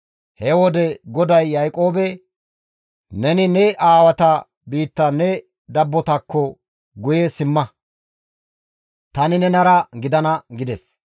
He wode GODAY Yaaqoobe, «Neni ne aawata biitta ne dabbotakko guye simma; tani nenara gidana» gides.